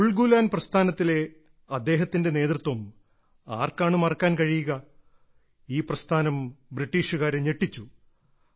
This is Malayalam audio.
ഉൾഗുലാൻ പ്രസ്ഥാനത്തിലെ അദ്ദേഹത്തിന്റെ നേതൃത്വം ആർക്കാണ് മറക്കാൻ കഴിയുക ഈ പ്രസ്ഥാനം ബ്രിട്ടീഷുകാരെ ഞെട്ടിച്ചു